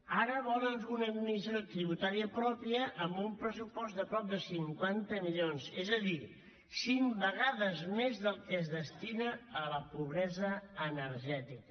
ara volen una administració tributària pròpia amb un pressupost de prop de cinquanta milions és a dir cinc vegades més del que es destina a la pobresa energètica